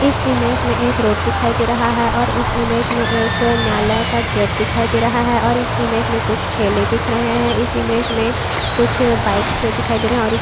इस इमेज मे एक रोड दिखाई दे रहा है और इस इमेज मे एक न्यायालय का गेट दिखाई दे रहा है और इस इमेज मे कुछ ठेले दिख रहे है इस इमेज मे कुछ बाइक्स दिखाई दे रहा है। और --